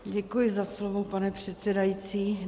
Děkuji za slovo, pane předsedající.